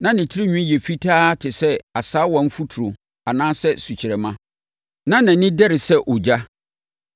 Na ne tirinwi yɛ fitaa te sɛ asaawafuturo anaasɛ sukyerɛmma, na nʼani dɛre sɛ ogya.